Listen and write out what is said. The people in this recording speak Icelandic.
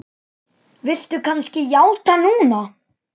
Viltu kannski játa núna?